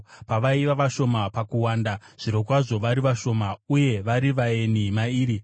Pavaiva vashoma pakuwanda, zvirokwazvo vari vashoma, uye vari vaeni mairi,